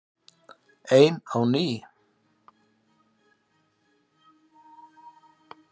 Ein á ný.